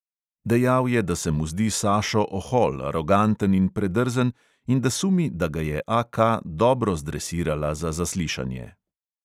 Dejal je, da se mu zdi sašo ohol, aroganten in predrzen in da sumi, da ga je AK dobro zdresirala za zaslišanje.